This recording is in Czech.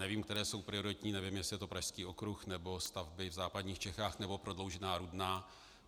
Nevím, které jsou prioritní, nevím, jestli je to Pražský okruh, nebo stavby v západních Čechách, nebo prodloužená Rudná.